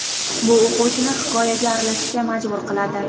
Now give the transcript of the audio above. Bu o‘quvchini hikoyaga aralashishga majbur qiladi.